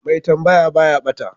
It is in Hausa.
Mai tambaya baya ɓata